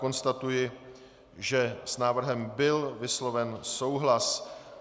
Konstatuji, že s návrhem byl vysloven souhlas.